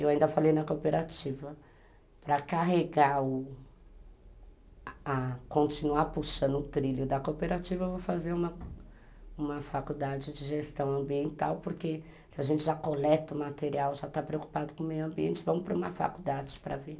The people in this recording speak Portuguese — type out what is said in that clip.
Eu ainda falei na cooperativa, para carregar o a a, continuar puxando o trilho da cooperativa, eu vou fazer uma uma faculdade de gestão ambiental, porque se a gente já coleta o material, já está preocupado com o meio ambiente, vamos para uma faculdade para ver.